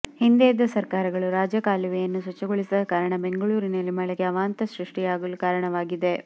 ಹಿಂದೆ ಇದ್ದ ಸರ್ಕಾರಗಳು ರಾಜಕಾಲುವೆಯನ್ನು ಸ್ವಚ್ಚಗೊಳಿಸದ ಕಾರಣ ಬೆಂಗಳೂರಿನಲ್ಲಿ ಮಳೆಗೆ ಅವಾಂತ ಸೃಷ್ಟಿಯಾಗಲು ಕಾರಣವಾಗಿದೆ